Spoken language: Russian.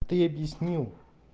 ты объяснил